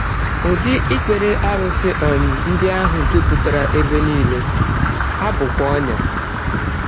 Ụdị ikpere arụsị um ndị ahụ jupụtara ebe nile, ha bụkwa ọnyà.